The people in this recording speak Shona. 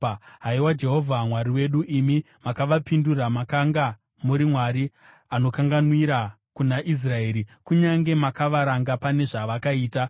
Haiwa Jehovha Mwari wedu, imi makavapindura; makanga muri Mwari anokanganwira kuna Israeri, kunyange makavaranga pane zvavakaita.